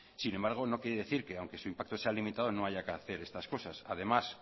sin embargo no quiere decir que aunque su impacto se limitado no haya que hacer estas cosas además